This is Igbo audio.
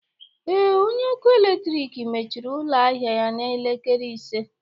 Ee, onye ọkụ eletrik mechiri ụlọ ahịa ya n'elekere ise